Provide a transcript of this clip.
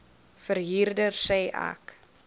verhuurder sê ek